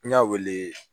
N y'a wele